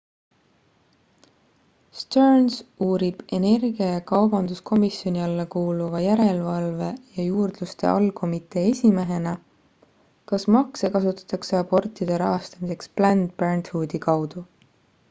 stearns uurib energia ja kaubanduskomisjoni alla kuuluva järelevalve ja juurdluste allkomitee esimehena kas makse kasutatakse abortide rahastamiseks planned parenthoodi kaudu